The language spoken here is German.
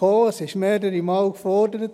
dies wurde schon mehrere Male gefordert.